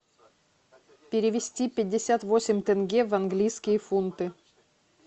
перевести пятьдесят восемь тенге в английские фунты